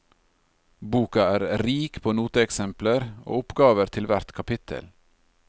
Boka er rik på noteeksempler og oppgaver til hvert kapittel.